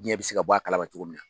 Diɲɛ bɛ se ka bɔ a kalama cogo min na.